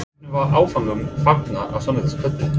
Hvernig var áfanganum fagnað á sunnudagskvöld?